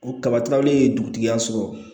U kaba tilaw ye dugutigiya sɔrɔ